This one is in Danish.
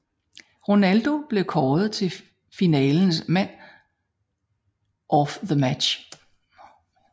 Ronaldo blev kåret til finalens man of the match